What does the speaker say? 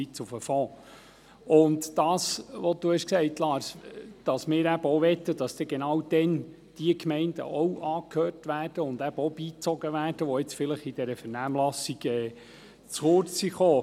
Wie Lars Guggisberg gesagt hat, sollen dann genau jene Gemeinden auch angehört und beigezogen werden, die in der Vernehmlassung zu kurz gekommen sind.